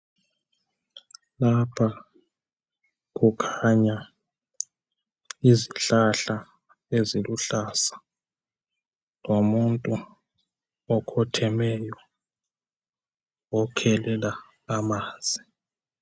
Lapha kukhanya izihlahla eziluhlaza lomuntu okhothemeyo okhelela amanzi .